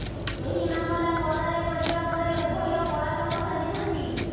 ଏହି ମାମଲା ପଦାରେ ପଡିବା ପରେ ଉଭୟ ପଳାତକ ସାଜିଛନ୍ତି